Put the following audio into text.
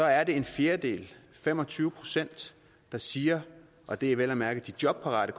er det en fjerdedel fem og tyve procent der siger og det er vel at mærke de jobparate